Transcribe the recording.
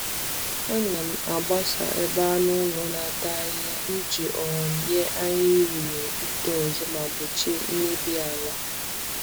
Ana m agbasa ebe anụ ụlọ na-ata ahịhịa iji um nye ahịhịa ohere ito ọzọ ma gbochie mmebi ala.